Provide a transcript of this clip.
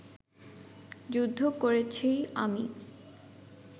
যুদ্ধ করেছি আমি